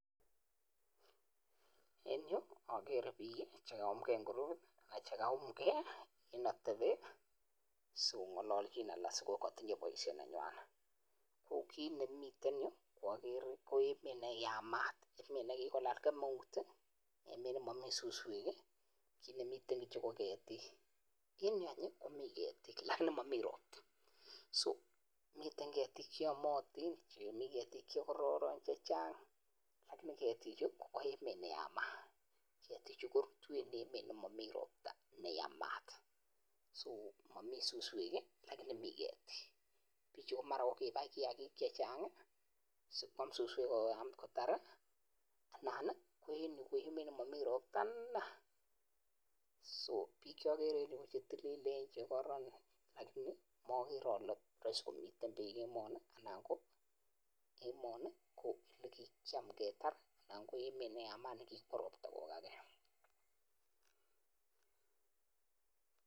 En agere piik che kaumke ago tindo baisyonik nyuan. Ki ma agere en yu ko emet ne yamat, emet ne kagelai kemeut, emet ne mami suswek. Ki ne mi kityo ko ketik. En yu any, mi ketik lakini mami rokta. Mi ketik che yamatin, mi ketik che kararon. U an emoni, mami rokta chechang'. Piik chemi oli ko kararan, lakini ma rahisi komi piik che chang' emoni.